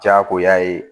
Diyagoya ye